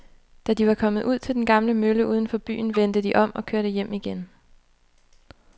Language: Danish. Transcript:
Da de var kommet ud til den gamle mølle uden for byen, vendte de om og kørte hjem igen.